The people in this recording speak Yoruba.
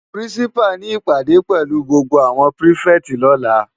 Pirinsipá ni ipádé pèlú gbógbó áwòn pirifèti lòlá